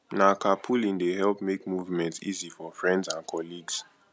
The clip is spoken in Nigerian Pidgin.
na carpooling dey help make movement easy for friends and colleagues